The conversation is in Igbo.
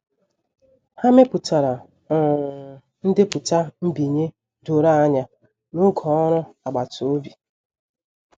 Ha mepụtara um ndepụta nbinye doro anya n'oge ọrụ agbata obi.